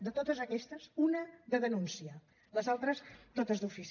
de totes aquestes una de denúncia les altres totes d’ofici